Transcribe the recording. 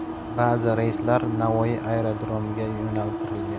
Ba’zi reyslar Navoiy aerodromiga yo‘naltirilgan.